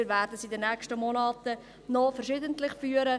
Wir werden sie in den nächsten Monaten noch verschiedentlich führen.